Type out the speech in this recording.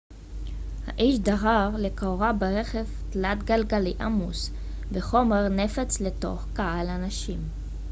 האיש דהר לכאורה ברכב תלת-גלגלי עמוס בחומר נפץ לתוך קהל אנשים